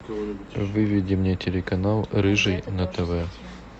выведи мне телеканал рыжий на тв